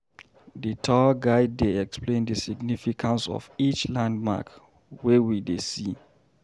The tour guide dey explain the significance of each landmark wey we dey see.